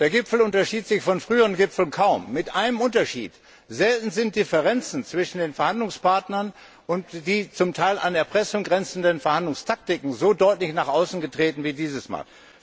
Der Gipfel unterschied sich von früheren Gipfeln kaum, mit einem Unterschied Selten sind Differenzen zwischen den Verhandlungspartnern und die zum Teil an Erpressung grenzenden Verhandlungstaktiken so deutlich nach außen getreten wie dieses Mal.